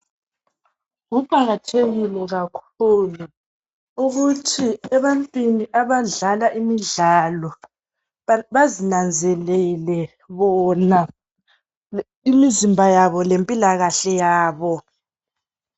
Kuqakathekile kakhulu ukuthi ebantwini abadlala imidlalo bazinenzelele bona imizimba yabo lempilakahle yabo.